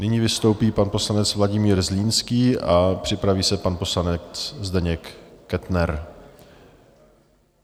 Nyní vystoupí pan poslanec Vladimír Zlínský a připraví se pan poslanec Zdeněk Kettner.